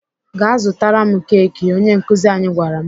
"Gaa zụtara m keki!" Onye nkuzi anyị gwara m.